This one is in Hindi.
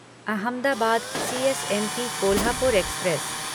अहमदाबाद सीएसएमटी कोल्हापुर एक्सप्रेस